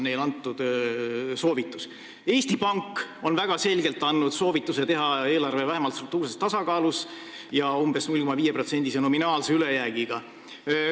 Eesti Pank on väga selgelt andnud soovituse teha eelarve vähemalt struktuurses tasakaalus ja umbes 0,5%-lise nominaalse ülejäägiga.